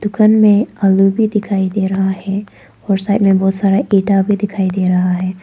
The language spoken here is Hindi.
दुकान में आलू भी दिखाई दे रहा है और साइड में बहोत सारा इंटा भी दिखाई दे रहा है।